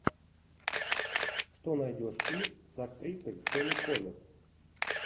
что найдешь из с актрисой тони коллетт